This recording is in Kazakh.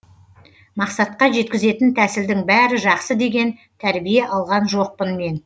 мақсатқа жеткізетін тәсілдің бәрі жақсы деген тәрбие алған жоқпын мен